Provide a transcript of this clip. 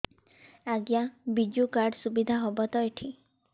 ଆଜ୍ଞା ବିଜୁ କାର୍ଡ ସୁବିଧା ହବ ତ ଏଠି